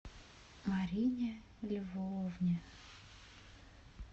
марине львовне